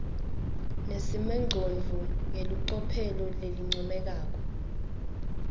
nesimongcondvo ngelicophelo lelincomekako